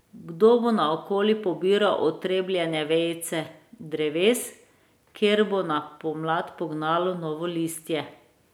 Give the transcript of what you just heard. Kdo bo naokoli pobiral otrebljene vejice dreves, kjer bo na pomlad pognalo novo listje?